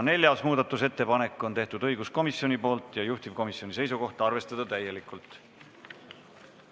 Neljandagi muudatusettepaneku on teinud õiguskomisjon ja taas on juhtivkomisjoni seisukoht arvestada seda täielikult.